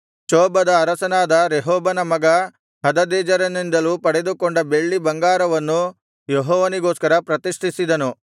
ಚೋಬದ ಅರಸನಾದ ರೆಹೋಬನ ಮಗ ಹದದೆಜೆರನಿಂದಲೂ ಪಡೆದುಕೊಂಡ ಬೆಳ್ಳಿ ಬಂಗಾರವನ್ನೂ ಯೆಹೋವನಿಗೋಸ್ಕರ ಪ್ರತಿಷ್ಠಿಸಿದನು